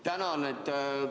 Tänan!